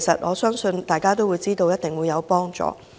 我相信大家都知道那是一定有幫助的。